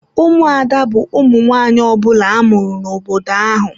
Ụmụada bu ụmụ nwanyị ọbula amụrụ n'obodo ahụ.